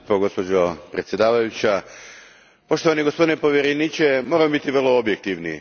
Gospođo predsjednice, poštovani gospodine povjereniče, moramo biti vrlo objektivni.